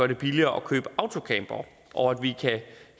det billigere at købe autocampere og at vi kan